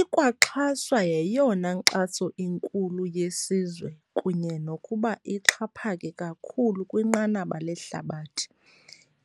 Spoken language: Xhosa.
Ikwaxhaswa yeyona nkxaso inkulu yesizwe kunye nokuba ixhaphake kakhulu kwinqanaba lehlabathi,